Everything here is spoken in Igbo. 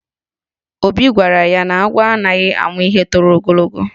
Obi gwara ya na agwọ aghaghị ịmụ ihe toro ogologo.